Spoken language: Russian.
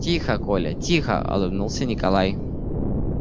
тихо коля тихо улыбнулся николай